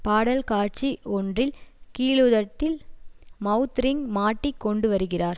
பாடல்காட்சி ஒன்றில் கீழுதட்டில் mouth ring மாட்டிக் கொண்டு வருகிறார்